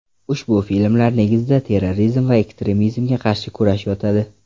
Ushbu filmlar negizida terrorizm va ekstremizmga qarshi kurash yotadi.